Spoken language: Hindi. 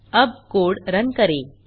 अब कोड रन करें